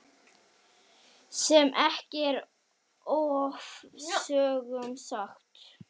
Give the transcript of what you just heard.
Sem ekki er ofsögum sagt.